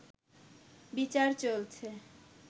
বিচার চলছে